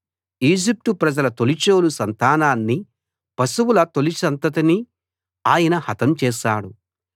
Egypt ప్రజల తొలిచూలు సంతానాన్ని పశువుల తొలి సంతతిని ఆయన హతం చేశాడు